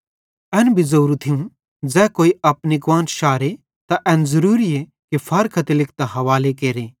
एन भी ज़ोरू थियूं ज़ै कोई अपनी कुआन्श शारे त एन ज़रूरीए कि फारख्ती लिखतां हावाले केरे